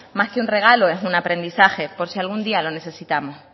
más que un regalo es un aprendizaje por si algún día lo necesitamos